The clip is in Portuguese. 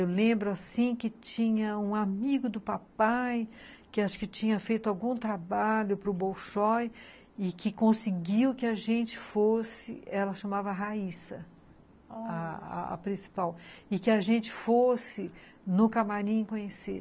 Eu lembro, assim, que tinha um amigo do papai, que acho que tinha feito algum trabalho para o Bolshoi, e que conseguiu que a gente fosse, ela chamava a Raissa, olhar... A principal, e que a gente fosse no camarim conhecer.